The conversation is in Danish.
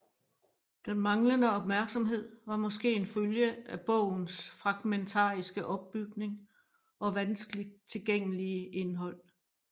Den manglende opmærksomhed var måske en følge af bogens fragmentariske opbygning og vanskeligt tilgængelige indhold